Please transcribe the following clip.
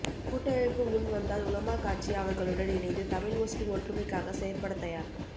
கூட்டமைப்பு முன் வந்தால் உலமா கட்சி அவர்களுடன் இணைந்து தமிழ் முஸ்லிம் ஒற்றுமைக்காக செயற்பட தயார்